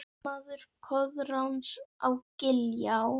Ármaður Koðráns á Giljá